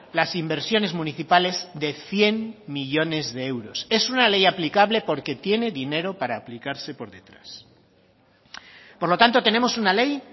las inversiones municipales de cien millónes de euros es una ley aplicable porque tiene dinero para aplicarse por detrás por lo tanto tenemos una ley